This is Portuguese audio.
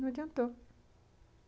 Não adiantou.